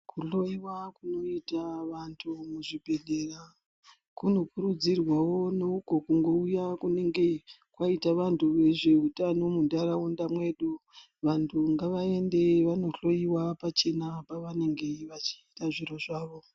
Kuhloiwa kunoita vantu muzvibhendlera kunokurudzirwawo neuko kunouya kunenge kwaita vantu vezveutano munharaunda mwedu. Vantu ngavaende vanohloiwa pachena pavanenge vachiita zviro zvavo.